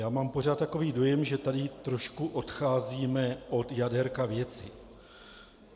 Já mám pořád takový dojem, že tady trošku odcházíme od jadérka věci.